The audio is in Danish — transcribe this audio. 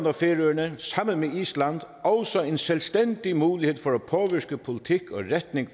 og færøerne sammen med island også en selvstændig mulighed